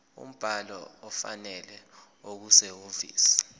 umbhalo ofanele okusehhovisi